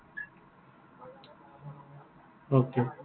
Okay